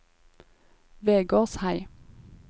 Vegårshei